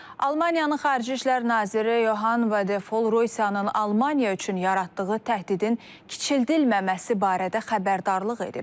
Almaniyanın Xarici İşlər naziri Yohana Vadefol Rusiyanın Almaniya üçün yaratdığı təhdidin kiçildilməməsi barədə xəbərdarlıq edib.